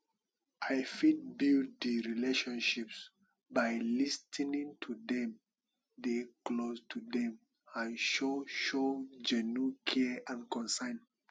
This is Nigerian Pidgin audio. i fit build di relationships by lis ten ing to dem dey close to dem and show show genuine care and concern